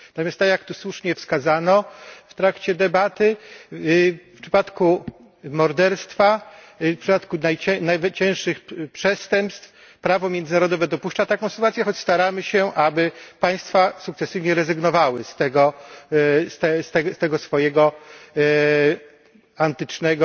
Natomiast tak jak to słusznie wskazano w trakcie debaty, w przypadku morderstwa, w przypadku najcięższych przestępstw prawo międzynarodowe dopuszcza taką sytuację, choć staramy się, aby państwa sukcesywnie rezygnowały z tego swojego antycznego,